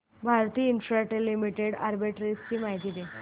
Bharti Infratel Limited arbitrage माहिती दे